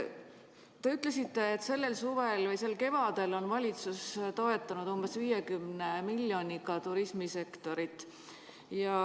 Te ütlesite, et sel suvel või kevadel on valitsus toetanud turismisektorit umbes 50 miljoni euroga.